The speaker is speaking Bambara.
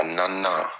A naaninan